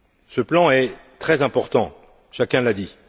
Ce plan est très important, chacun l'a dit.